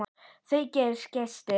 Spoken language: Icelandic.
Það eru gestir.